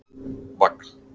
Vagn